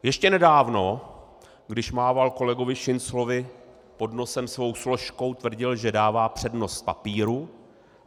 Ještě nedávno, když mával kolegovi Šinclovi pod nosem svou složkou, tvrdil, že dává přednost papíru.